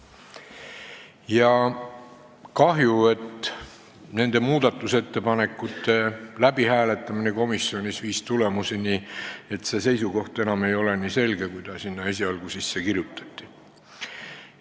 Ja kahju, et muudatusettepanekute läbihääletamine komisjonis viis tulemuseni, et see seisukoht ei ole enam nii selge, kui sinna esialgu sisse kirjutati.